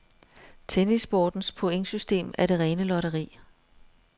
Tennissportens pointsystem er det rene lotteri.